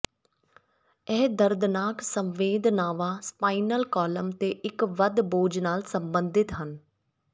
ਇਹ ਦਰਦਨਾਕ ਸੰਵੇਦਨਾਵਾਂ ਸਪਾਈਨਲ ਕਾਲਮ ਤੇ ਇੱਕ ਵੱਧ ਬੋਝ ਨਾਲ ਸਬੰਧਿਤ ਹਨ